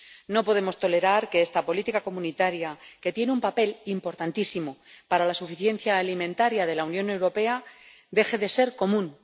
No podemos tolerar que esta política comunitaria, que tiene un papel importantísimo para la suficiencia alimentaria de la Unión Europea, deje de ser común.